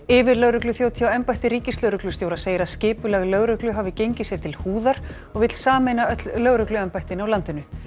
yfirlögregluþjónn hjá embætti ríkislögreglustjóra segir að skipulag lögreglu hafi gengið sér til húðar og vill sameina öll lögregluembættin í landinu